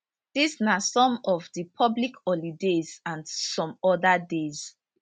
dis na some of di public holidays and some oda days